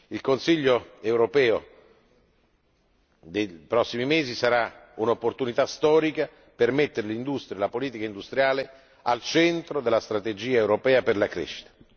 Il Consiglio europeo dei prossimi mesi sarà un'opportunità storica per mettere l'industria e la politica industriale al centro della strategia europea per la crescita.